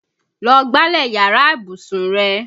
Lọ gbálẹ̀ yàrá ìbùsùn rẹ!